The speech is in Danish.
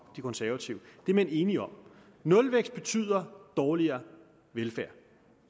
de konservative det er man enige om nulvækst betyder dårligere velfærd